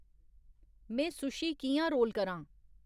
में सुशी कि'यां रोल करां?